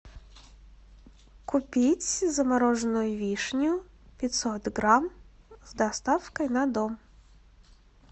купить замороженную вишню пятьсот грамм с доставкой на дом